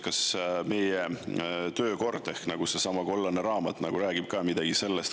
Kas meie töökord ehk seesama kollane raamat ka midagi selle kohta räägib?